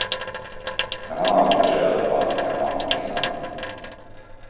Men han önskar sig i alla fall en och annan present.